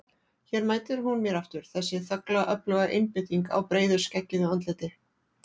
Hér mætir hún mér aftur, þessi þögla öfluga einbeiting á breiðu skeggjuðu andliti.